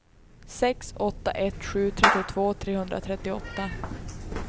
sex åtta ett sju trettiotvå trehundratrettioåtta